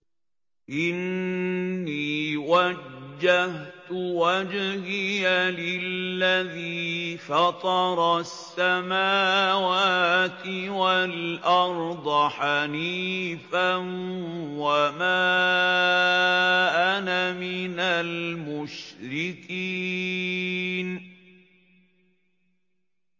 إِنِّي وَجَّهْتُ وَجْهِيَ لِلَّذِي فَطَرَ السَّمَاوَاتِ وَالْأَرْضَ حَنِيفًا ۖ وَمَا أَنَا مِنَ الْمُشْرِكِينَ